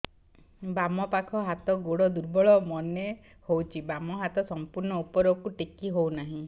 ବାମ ପାଖ ହାତ ଗୋଡ ଦୁର୍ବଳ ମନେ ହଉଛି ବାମ ହାତ ସମ୍ପୂର୍ଣ ଉପରକୁ ଟେକି ହଉ ନାହିଁ